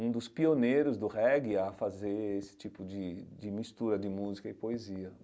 um dos pioneiros do reggae a fazer esse tipo de de mistura de música e poesia.